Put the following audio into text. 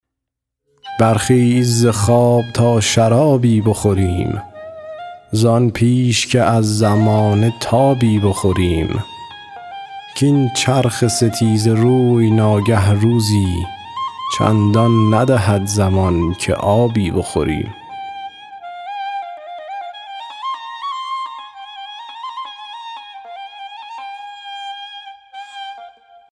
برخیز ز خواب تا شرابی بخوریم زان پیش که از زمانه تابی بخوریم کاین چرخ ستیزه روی ناگه روزی چندان ندهد زمان که آبی بخوریم